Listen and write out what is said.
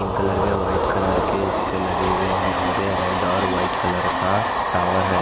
Pink colour के white colour के इसपे लगे हुए हैं और ये रेड और व्हाइट कलर का टावर है।